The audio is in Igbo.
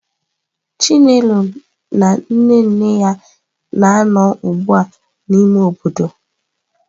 Chinelo na nne nne ya na-anọ ugbu a n'ime obodo.